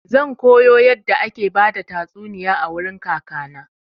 Zan koyo yadda ake bada tastuniya a wurin kaka na.